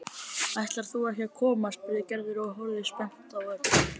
Ætlar þú ekki að koma? spurði Gerður og horfði spennt á Örn.